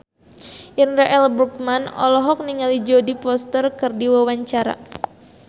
Indra L. Bruggman olohok ningali Jodie Foster keur diwawancara